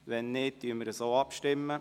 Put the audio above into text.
– Wenn nicht, stimmen wir so ab.